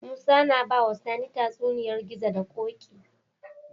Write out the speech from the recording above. Musa na bawa sani tatsuniyar gizo da koki